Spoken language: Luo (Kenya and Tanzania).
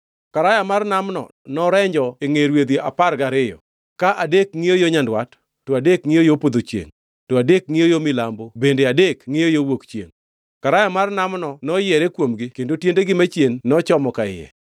Karaya mar Namno norenji e ngʼe rwedhi apar gariyo, ka adek ngʼiyo yo nyandwat, to adek ngʼiyo yo podho chiengʼ, to adek ngʼiyo yo milambo bende adek ngʼiyo yo wuok chiengʼ. Karaya mar Namno noyiere kuomgi kendo tiendegi machien nochomo ka iye.